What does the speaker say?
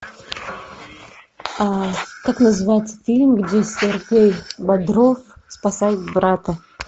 как называется фильм где сергей бодров спасает брата